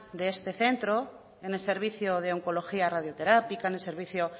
de este centro en el servicio de oncología radioterápica en el servicio